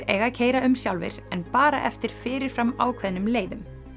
eiga að keyra um sjálfir en bara eftir fyrir fram ákveðnum leiðum